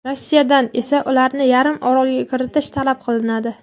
Rossiyadan esa ularni yarim orolga kiritish talab qilinadi.